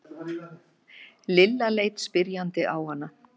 Lilla leit spyrjandi á hana.